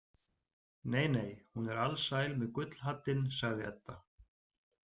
Nei, nei, hún er alsæl með gullhaddinn, sagði Edda.